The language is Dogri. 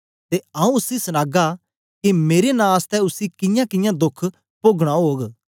ते आंऊँ उसी सनागा के मेरे नां आसतै उसी कियांकियां दोख पोगना ओग